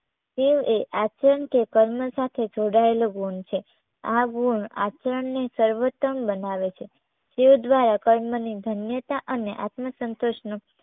શિવ એ આચરણ કે કર્મ સાથે જોડાયેલો ગુણ છે. આ ગુણ આચરણને સર્વોત્તમ બનાવે છે તે દ્વારા કર્મની ધન્યતા અને આત્મ સંતોષનો